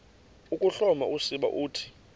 ukuhloma usiba uthi